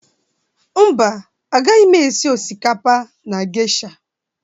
Mba, agaghị m esi osikapa na geisha.